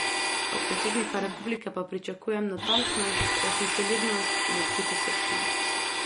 Od predsednika republike pa pričakujem natančnost, resnicoljubnost in odkritosrčnost.